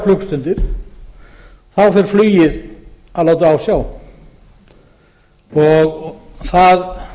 klukkustundir þá fer flugið að láta á sjá þetta er